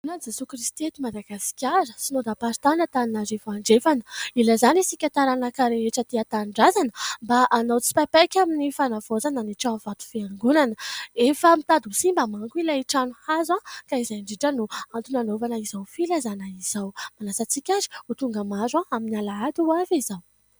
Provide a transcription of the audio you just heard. Fiangonan'i Jesoa Kristy eto Madagasikara Synodamparitany Antananarivo Andrefana. Ilazana isika taranaka rehetra aty an-tanidrazana mba hanao tsipaipaika amin'ny fanavaozana ny trano vato fiangonana, efa mitady ho simba mantsy ilay trano hazo ka izay indrindra no antony hanaovana izao filazana izao. Manasa antsika ary ho tonga maro amin'ny Alahady ho avy izao.